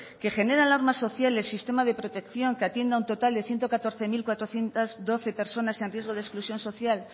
que genera alarma social el sistema de protección que atiende un total de ciento catorce mil cuatrocientos doce personas en riesgo de exclusión social